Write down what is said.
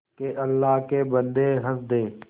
के अल्लाह के बन्दे हंस दे